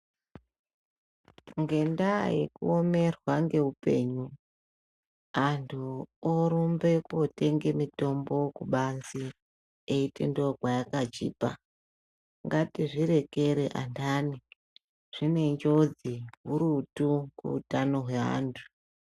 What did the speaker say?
Ngendaa yekuomerwa ngeupenyu antu orumbe kootenge mitombo kubanzi eiti ndiko kwayakachipa ngatizvirekere ananhi zvinenjodzi hurutu kuutano hweantu.